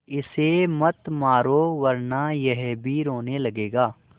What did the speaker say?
इसे मत मारो वरना यह भी रोने लगेगा